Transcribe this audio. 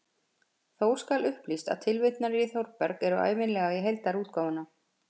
Þó skal upplýst að tilvitnanir í Þórberg eru ævinlega í heildarútgáfuna.